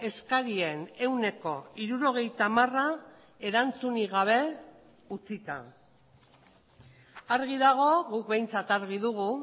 eskarien ehuneko hirurogeita hamara erantzunik gabe utzita argi dago guk behintzat argi dugu